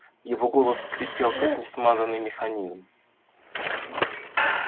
его голос скрипел как несмазанный механизм